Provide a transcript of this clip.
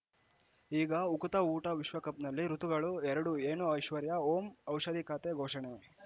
ಈಗ ಉಕುತ ಊಟ ವಿಶ್ವಕಪ್‌ನಲ್ಲಿ ಋತುಗಳು ಎರಡು ಏನು ಐಶ್ವರ್ಯಾ ಓಂ ಔಷಧಿ ಖಾತೆ ಘೋಷಣೆ